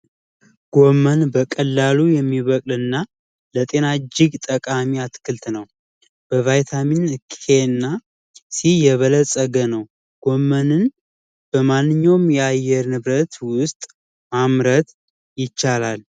ጎመን በቀላሉ የሚበቅልና ል ለጤና እጅግ ጠቃሚ አትክልት ነው በቫይታሚን ኬንያ ሲዬ የበለፀገ ነው በማንኛውም ያየር ንብረት ውስጥ ማምረት ይቻላል